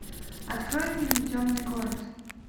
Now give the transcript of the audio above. открой фильм темный город